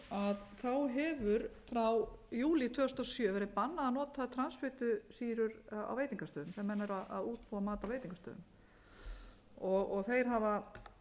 hefur frá júlí tvö þúsund og sjö verið bannað að nota transfitusýrur á veitingastöðum þegar menn eru að útbúa mat á veitingastöðum þeir hafa